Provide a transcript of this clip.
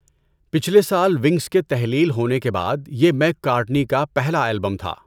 پچھلے سال ونگز کے تحلیل ہونے کے بعد یہ میک کارٹنی کا پہلا البم تھا۔